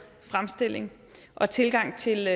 fremstilling og tilgang til